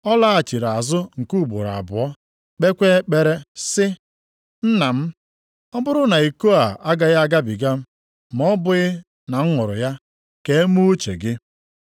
Ọ laghachiri azụ nke ugboro abụọ kpeekwa ekpere sị, “Nna m, ọ bụrụ na iko a agaghị agabiga ma ọ bụghị na m ṅụrụ ya, ka e mee uche gị.”